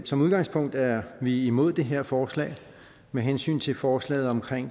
som udgangspunkt er vi imod det her forslag med hensyn til forslaget om